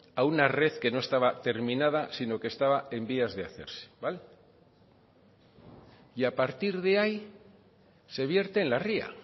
a una red que no estaba terminada sino que estaba en vías de hacerse vale y a partir de ahí se vierte en la ría